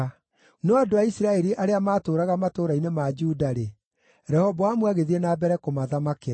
No andũ a Isiraeli arĩa maatũũraga matũũra-inĩ ma Juda-rĩ, Rehoboamu agĩthiĩ na mbere kũmathamakĩra.